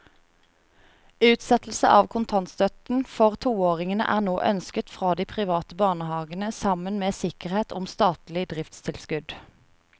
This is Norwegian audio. Utsettelse av kontantstøtten for toåringene er nå ønsket fra de private barnehavene sammen med sikkerhet om statlig driftstilskudd.